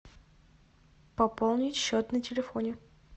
пополнить счет на телефоне